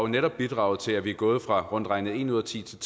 netop bidraget til at vi er gået fra at rundt regnet en ud af ti til